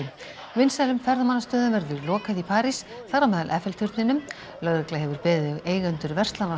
vinsælum ferðamannastöðum verður lokað í París þar á meðal turninum lögregla hefur beðið eigendur verslana á